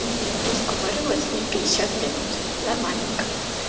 и разговаривать с ней пятьдесят минут нормальненько